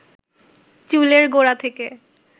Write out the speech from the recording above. চুলের গোড়া থেকে